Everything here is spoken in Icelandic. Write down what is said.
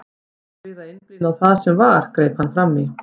Þurfum við að einblína á það sem var, greip hann fram í.